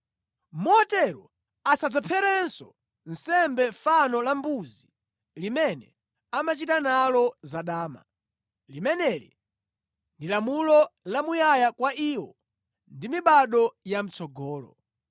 Motero asadzapherenso nsembe fano la mbuzi limene amachita nalo zadama. Limeneli ndi lamulo la muyaya kwa iwo ndi mibado ya mʼtsogolo.’ ”